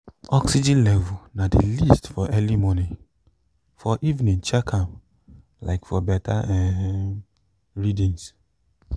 oxygen level na the least for early morning for evening check am um for better um readings